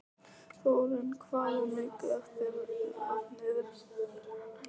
Þórinn, hvað er mikið eftir af niðurteljaranum?